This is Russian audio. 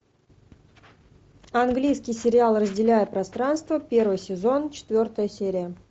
английский сериал разделяя пространство первый сезон четвертая серия